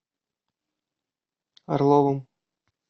орловым